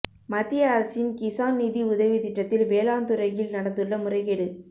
மத்திய அரசின் கிசான் நிதி உதவி திட்டத்தில் வேளாண்துறையில் நடந்துள்ள முறைகேடு